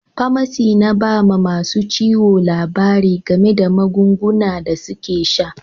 Pamasi na ba ma masun ciwo labari game da magunguna da suke sa.